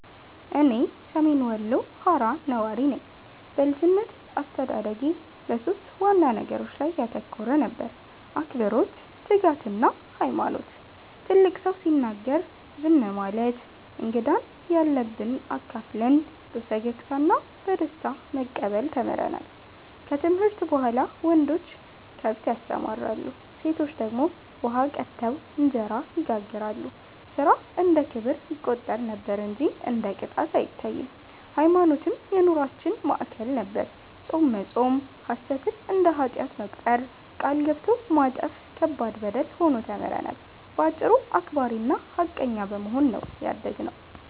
እኔ ሰሜን ወሎ ሃራ ነዋሪ ነኝ። በልጅነቴ አስተዳደጌ በሦስት ዋና ነገሮች ላይ ያተኮረ ነበር፤ አክብሮት፣ ትጋትና ሃይማኖት። ትልቅ ሰው ሲናገር ዝም ማለት፣ እንግዳን ያለንብ አካፍለን በፈገግታ እና በደስታ መቀበል ተምረናል። ከትምህርት በኋላ ወንዶች ከብት ያሰማራሉ፣ ሴቶች ደግሞ ውሃ ቀድተው እንጀራ ይጋግራሉ፤ ሥራ እንደ ክብር ይቆጠር ነበር እንጂ እንደ ቅጣት አይታይም። ሃይማኖትም የኑሮአችን ማዕከል ነበር፤ ጾም መጾም፣ ሐሰትን እንደ ኃጢአት መቁጠር፣ ቃል ገብቶ ማጠፍ ከባድ በደል ሆኖ ተምረናል። በአጭሩ አክባሪና ሃቀኛ በመሆን ነው ያደግነው።